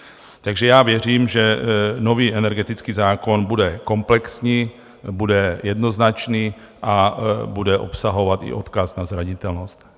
Takže já věřím, že nový energetický zákon bude komplexní, bude jednoznačný a bude obsahovat i odkaz na zranitelnost.